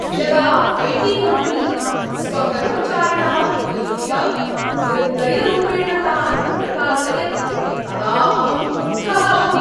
यदा IT. Company स्वकर्मचारिणः उपयुज्य निर्दयरूपेण तान् निरकासयत् तदा अहं क्रुद्धः अभवम्।